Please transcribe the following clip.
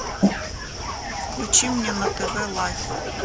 включи мне на тв лайф